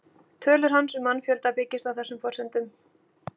Tölur hans um mannfjölda byggjast á þessum forsendum.